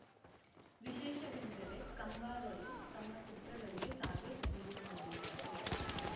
ವಿಶೇಷವೆಂದರೆ ಕಂಬಾರರು ತಮ್ಮ ಚಿತ್ರಗಳಿಗೆ ತಾವೇ ಸಂಗೀತ ನೀಡಿದ್ದಾರೆ